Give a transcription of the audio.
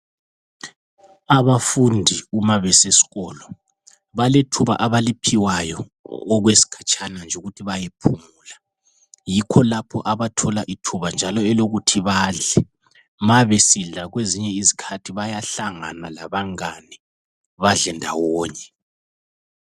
Abafundi uma besesikolo balethuba abaliphiwayo okwesikhatshana nje ukuthi bayephumula. Yikho lapho abathola ithuba njalo elokuthi badle. Mabesidla kwezinye izikhathi bayahlangana labangane badle ndawonye.